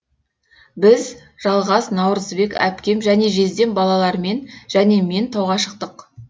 біз жалғас наурызбек әпкем және жездем балалармен және мен тауға шықтық